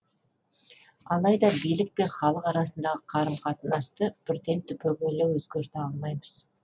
алайда билік пен халық арасындағы қарым қатынасты бірден түбегейлі өзгерте алмаймыз